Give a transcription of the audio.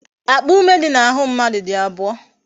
Akpa ume dị n'ahụ mmadụ dị abụọ